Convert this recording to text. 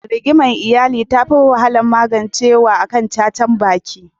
Rigimar iyali tafi wahalar magancewa akan cacar baki.